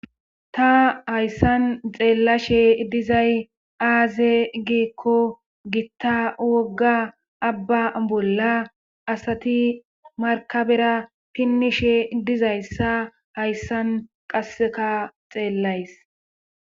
ta hayssan xeellashe dizay aaze giikko gitta wogga abba bolla asati markabera pinnishe dizayssa hayssan qasseka xeellays